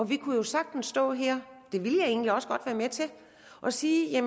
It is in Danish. vi kunne jo sagtens stå her det ville jeg egentlig også godt være med til og sige